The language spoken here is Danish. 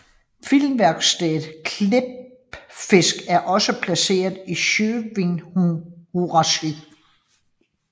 Filmværkstedet Klippfisk er også placeret i Sjóvinnuhúsið